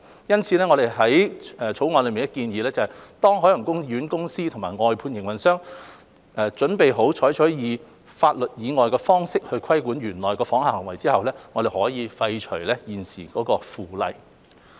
因此，我們於《條例草案》內建議，當海洋公園公司及外判營運商準備好採取法例以外的方式規管園內訪客的行為後，我們可以廢除現時的《附例》。